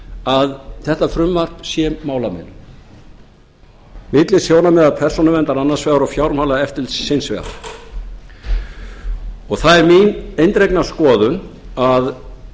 að þetta frumvarp sé málamiðlun milli sjónarmiða persónuverndar annars vegar og fjármálaeftirlitsins hins vegar það er mín eindregna skoðun að